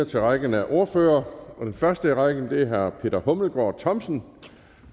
til rækken af ordførere og den første i rækken er herre peter hummelgaard thomsen